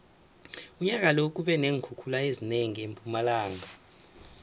unyaka lo kube neenkhukhula ezinengi empumalanga